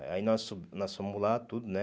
Aí nós fomos nós fomos lá, tudo, né?